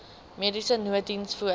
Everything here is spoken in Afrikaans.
mediese nooddiens voor